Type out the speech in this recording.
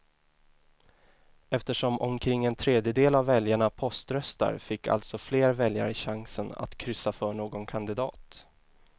Eftersom omkring en tredjedel av väljarna poströstar fick alltså fler väljare chansen att kryssa för någon kandidat.